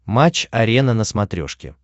матч арена на смотрешке